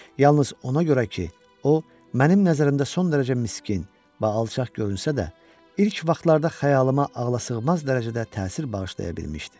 Yalnız ona görə ki, o mənim nəzərimdə son dərəcə miskin və alçaq görünsə də, ilk vaxtlarda xəyalımə ağlasığmaz dərəcədə təsir bağışlaya bilmişdi.